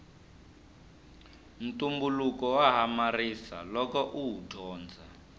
ntumbuluko wa hamarisa loko uwu dyondza